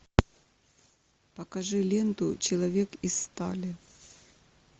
покажи ленту человек из стали